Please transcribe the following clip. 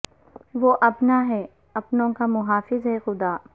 وہ اپنا ہے اپنو ں کا محافظ ہے خدا